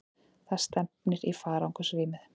Það stefnir í farangursrýmið.